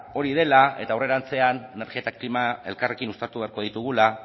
hori dela eta aurrerantzean energia eta klima elkarrekin uztartu beharko ditugula